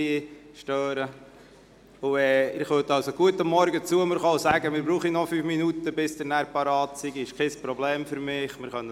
Sie dürfen auch gerne am Morgen zu mir kommen und mir sagen, dass Sie noch fünf Minuten brauchen, bis Sie parat sind.